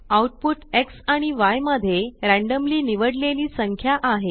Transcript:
output Xआणि य मध्ये रॅंडम्ली निवडलेली संख्या आहे